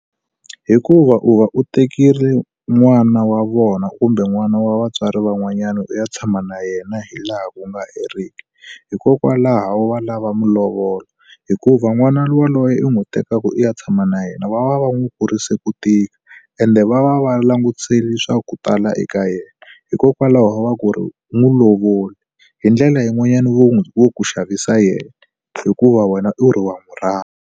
Hikuva u va u tekile n'wana wa vona kumbe n'wana wa vatswari van'wanyana u ya tshama na yena hi laha ku nga heriki. Hikokwalaho va lava malovolo. Hikuva n'wana yaloye i n'wi tekaka u ya tshama na yena va va va n'wi kurise ku tika ende va va va langutisele swa ku tala eka yena, hikokwalaho va ku ri n'wi lovole. Hi ndlela yin'wanyana vo ku xavisela yena hikuva wena u ri wa n'wi rhandza.